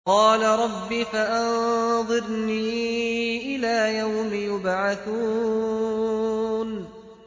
قَالَ رَبِّ فَأَنظِرْنِي إِلَىٰ يَوْمِ يُبْعَثُونَ